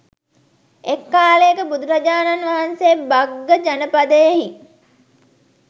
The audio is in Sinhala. එක් කාලයක බුදුරජාණන් වහන්සේ භග්ග ජනපදයෙහි